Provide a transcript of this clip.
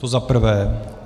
To za prvé.